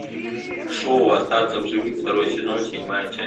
шоу остаться в живых второй сезон седьмая часть